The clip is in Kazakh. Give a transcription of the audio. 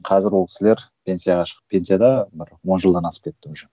қазір ол кісілер пенсияға шығып пенсияда бір он жылдан асып кетті уже